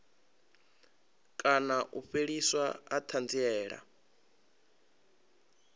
kana u fheliswa ha thanziela